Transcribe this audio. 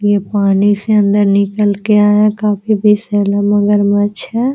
ये पानी से बाहर निकाल कर आया है काफी विषैला मगरमच्छ है।